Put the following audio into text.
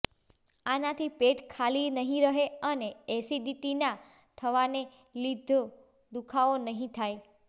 આનાથી પેટ ખાલી નહીં રહે અને એસિડીટી ના થવાને લીધો દુખાવો નહીં થાય